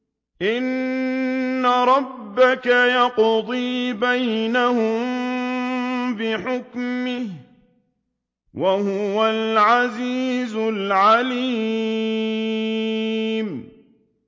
إِنَّ رَبَّكَ يَقْضِي بَيْنَهُم بِحُكْمِهِ ۚ وَهُوَ الْعَزِيزُ الْعَلِيمُ